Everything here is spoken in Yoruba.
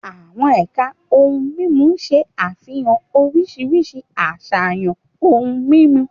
Àwọn ẹ̀ka ohun mímu ṣe àfihàn oríṣiríṣi àṣàyàn ohun mímu.